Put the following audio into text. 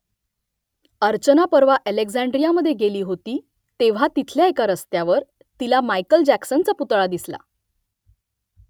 अर्चना परवा अलेक्झांड्रियामधे गेली होती तेव्हा तिथल्या एका रस्त्यावर तिला मायकेल जॅक्सनचा पुतळा दिसला